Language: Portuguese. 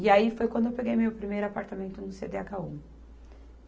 E aí foi quando eu peguei meu primeiro apartamento no Cêdêagáu